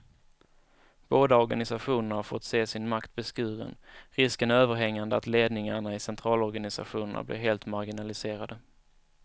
Båda organisationerna har fått se sin makt beskuren, risken är överhängande att ledningarna i centralorganisationerna blir helt marginaliserade.